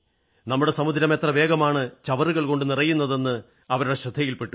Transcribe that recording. നമ്മുടെ സമുദ്രം എത്ര വേഗമാണ് ചവറുകൾ കൊണ്ട് നിറയുന്നതെന്ന് അവരുടെ ശ്രദ്ധയിൽ പെട്ടു